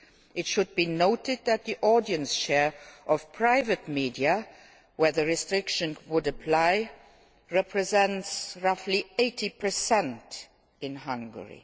It should be noted that the audience share of private media, where the restrictions would apply, represents roughly 80 in Hungary.